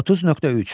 30.3.